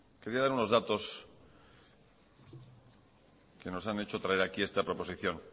quería dar unos datos que nos han hecho traer aquí esta proposición